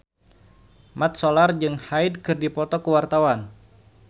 Mat Solar jeung Hyde keur dipoto ku wartawan